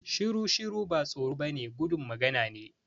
Shiru-shiru ba tsoro ba ne gudun magana ne